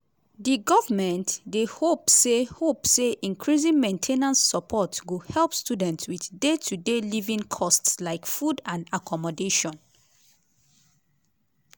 the government dey hope say hope say increasing main ten ance support go help students wit day-to-day living costs like food and accommodation.